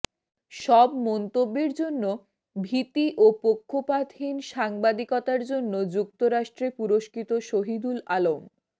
সব মন্তব্যের জন্য ভীতি ও পক্ষপাতহীন সাংবাদিকতার জন্য যুক্তরাষ্ট্রে পুরস্কৃত শহিদুল আলম